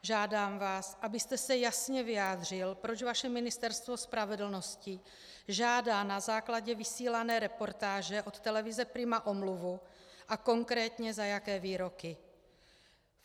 Žádám vás, abyste se jasně vyjádřil, proč vaše Ministerstvo spravedlnosti žádá na základě vysílané reportáže od televize Prima omluvu a konkrétně, za jaké výroky.